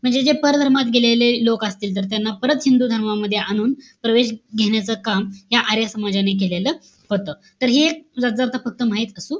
म्हणजे जे परधर्मात गेलेले लोक असतील, तर त्यांना परत हिंद धर्मामध्ये आणून, प्रवेश घेण्याचं काम त्या आर्य समाजाने केलेलं होतं. तर हि एक सुद्धा फक्त माहित असू,